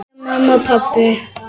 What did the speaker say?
Kveðja mamma og pabbi.